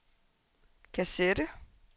kassette